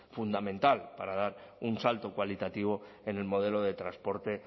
fundamental para dar un salto cualitativo en el modelo de transporte